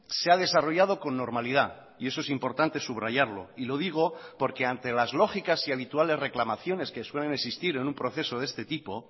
se ha desarrollado con normalidad y eso es importante subrayarlo y lo digo porque ante las lógicas y habituales reclamaciones que suelen existir en un proceso de este tipo